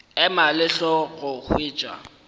ema le hlogo go hwetša